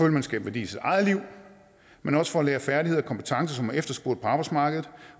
at man skaber værdi i sit eget liv men også for at lære færdigheder og kompetencer som er efterspurgt på arbejdsmarkedet